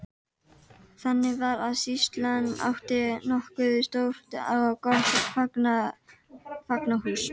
Þannig var að sýslan átti nokkuð stórt og gott fangahús.